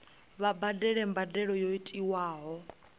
vha badele mbadelo yo tiwaho